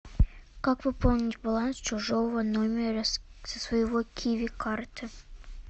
как пополнить баланс чужого номера со своего киви карты